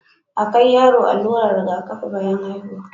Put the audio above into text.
a kai yara allurar Riga kafi bayan haihuwa